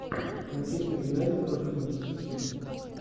манчестер юнайтед против манчестер сити